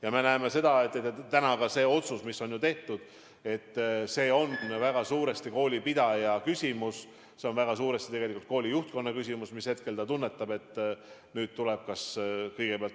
Ja me näeme, et täna ka see otsus, mis on tehtud, on väga suuresti koolipidaja küsimus, see on väga suuresti tegelikult kooli juhtkonna küsimus – mis hetkel ta tunnetab, et nüüd tuleb midagi teha.